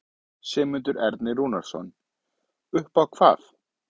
Sigmundur Ernir Rúnarsson: Upp á hvað?